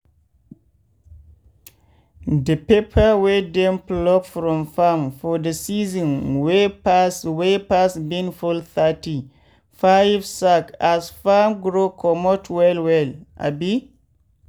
de pepper wey dem pluck from farm for de season wey pass wey pass bin full thirty-five sack as farrm grow comot well well. abi